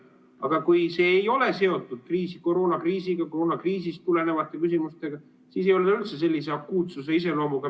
Aga kui see ei ole seotud koroonakriisiga, koroonakriisist tulenevate küsimustega, siis ei ole ta üldse sellise akuutse iseloomuga.